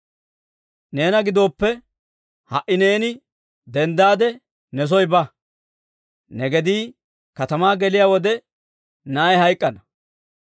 «Neena gidooppe, ha"i neeni denddaade ne soo ba. Ne gedii katamaa geliyaa wode, na'ay hayk'k'ana.